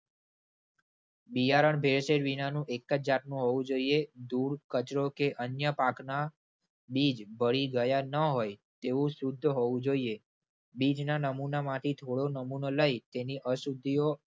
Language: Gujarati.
બિયારણ ભેળસેળ વિનાનું એક જ જાતનું હોવું જોઈએ. ધૂળ કચરો કે અન્ય પાકના બીજ ભળી ગયા ન હોય તેવું શુદ્ધ હોવું જોઈએ. બીજના નમુનામાંથી થોડો નમૂનો લઈ તેની અશુદ્ધિઓ